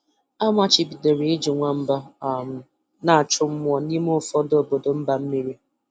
A machibidoro iji nwamba um na-achụ mmụọ n'ime ụfọdụ obodo mba mmiri.